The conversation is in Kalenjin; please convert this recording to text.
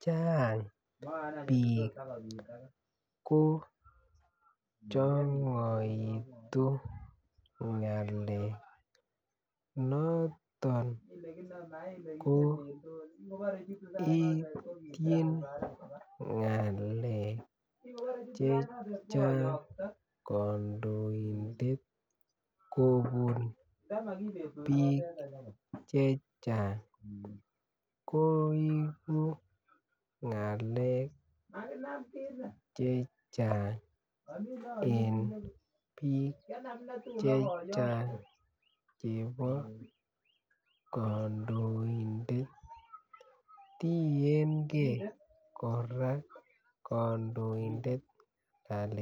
Chang bik ko changitu ng'alek ko noton ityin ng'alek chechang kandoinatet kobun bik chechang koigu ng'alek chechang en bik en bik chebo kandoindet tiengee kandoindet kora kandoindet